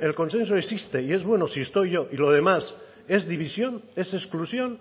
el consenso existe y es bueno si estoy yo y lo demás es división es exclusión